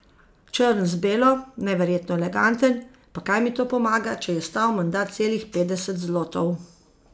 Črn z belo, neverjetno eleganten, pa kaj mi to pomaga, če je stal menda celih petdeset zlotov.